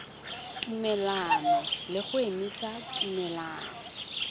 tumelelano le go emisa tumelelano